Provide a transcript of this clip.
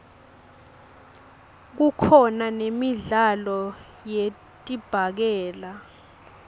kukhona nemidlalo yedibhakela